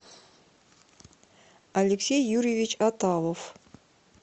алексей юрьевич аталов